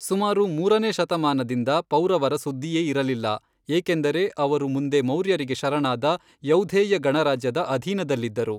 ಸುಮಾರು ಮೂರನೇ ಶತಮಾನದಿಂದ ಪೌರವರ ಸುದ್ದಿಯೇ ಇರಲಿಲ್ಲ, ಏಕೆಂದರೆ ಅವರು ಮುಂದೆ ಮೌರ್ಯರಿಗೆ ಶರಣಾದ ಯೌಧೇಯ ಗಣರಾಜ್ಯದ ಅಧೀನದಲ್ಲಿದ್ದರು.